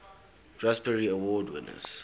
raspberry award winners